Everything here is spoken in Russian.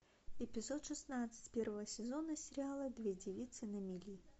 эпизод шестнадцать первого сезона сериала две девицы на мели